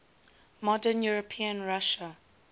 modern european russia